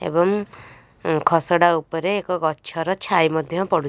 ଏବଂ ଉଁ ଖସଡ଼ା ଉପରେ ଏକ ଗଛ ର ଛାଇ ମଧ୍ୟ ପଡୁଚି.